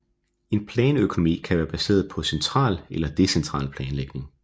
En planøkonomi kan være baseret på central eller decentral planlægning